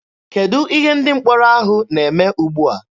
Kedụ ihe ndị mkpọrọ ahụ na-eme ugbua?